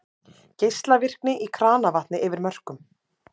Geislavirkni í kranavatni yfir mörkum